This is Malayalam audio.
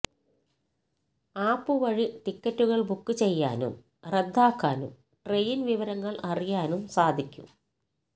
ആപ്പ് വഴി ടിക്കറ്റുകൾ ബുക്ക് ചെയ്യാനും റദ്ദാക്കാനും ട്രെയിൻ വിവരങ്ങൾ അറിയാനും സാധിക്കും